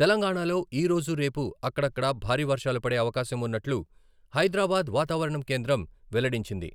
తెలంగాణలో ఈ రోజు, రేపు అక్కడక్కడా భారీ వర్షాలు పడే అవకాశం ఉన్నట్లు హైదరాబాద్ వాతావరణ కేంద్రం వెల్లడించింది.